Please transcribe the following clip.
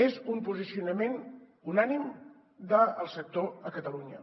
és un posicionament unànime del sector a catalunya